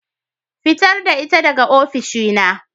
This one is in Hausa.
Fitar da ita daga oficina.